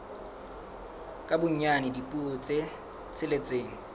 ka bonyane dipuo tse tsheletseng